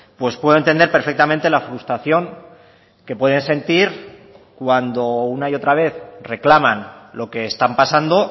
pues puedo entender perfectamente la frustración que pueden sentir cuando una y otra vez reclaman lo que están pasando